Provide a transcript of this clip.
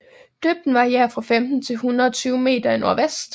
Dybden varierer fra 15 til 120 meter i nordvest